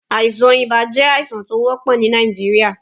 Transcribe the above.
Àìsàn ìbà jẹ̀ àìsàn tó wọ́pọ̀ ni Nàìjíríà.